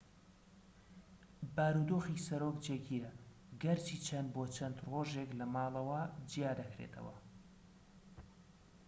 بارودۆخی سەرۆک جێگیرە گەرچی چەند بۆ چەند ڕۆژێک لەماڵەوە جیا دەکرێتەوە